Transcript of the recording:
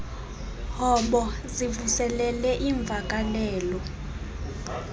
hobo zivuselele iimvakalelo